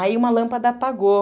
Aí uma lâmpada apagou.